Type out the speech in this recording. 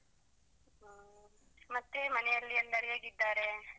ಹ ಮತ್ತೆ ಮನೆಯಲ್ಲಿ ಎಲ್ಲರೂ ಹೇಗಿದ್ದಾರೆ?